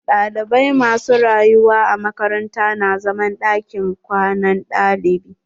Ɗalibai ma su rayuwa a makaranta na zaman ɗakin kwanan ɗalibai.